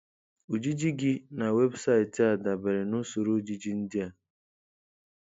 Ojiji gị na webụsaịtị a dabere na Usoro ojiji ndị a.